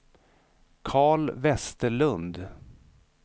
Karl Vesterlund